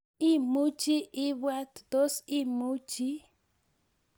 Imuchi ibwaat, Tos imuchi?